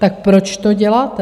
Tak proč to děláte?